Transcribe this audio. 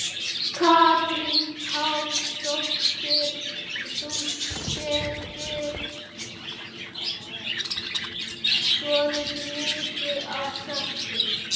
Katrín Pálsdóttir: Þú settir svolítið mikið af salti?